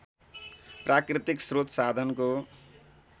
प्राकृतिक स्रोत साधनको